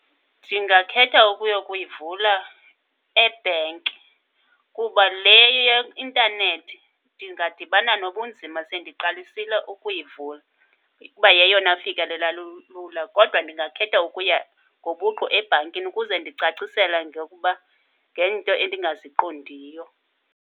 Ndingakhetha ukuyokuyivula ebhenki kuba le ye-intanethi ndingadibana nobunzima sendiqalisile ukuyivula kuba yeyona fikelela lula. Kodwa ndingakhetha ukuya ngobuqu ebhankini ukuze ndicacisela ngokuba ngeento endingaziqondiyo.